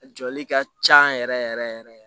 A jɔli ka ca yɛrɛ yɛrɛ yɛrɛ yɛrɛ